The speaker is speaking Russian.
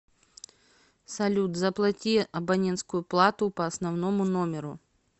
салют заплати абонентскую плату по основному номеру